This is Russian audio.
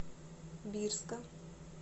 бирска